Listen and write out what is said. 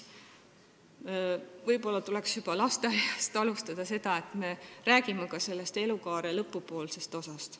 Võib-olla tuleks seda juba lasteaiast alustada ja rääkida ka elukaare lõpupoolsest osast.